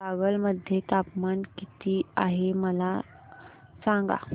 कागल मध्ये तापमान किती आहे मला सांगा